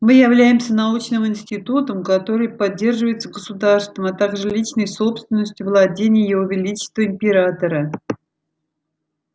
мы являемся научным институтом который поддерживается государством а также личной собственностью владений его величества императора